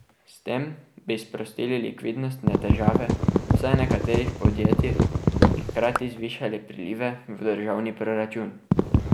S tem bi sprostili likvidnostne težave vsaj nekaterih podjetij in hkrati zvišali prilive v državni proračun.